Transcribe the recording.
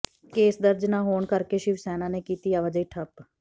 case ਦਰਜ ਨਾ ਹੋਣ ਕਰਕੇ ਸ਼ਿਵ ਸੈਨਾ ਨੇ ਕੀਤੀ ਆਵਾਜਾਈ ਠੱਪ